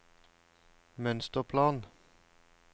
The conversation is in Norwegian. mønsterplan